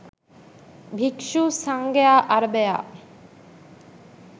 භික්ෂු සංඝයා අරභයා